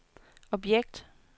objekt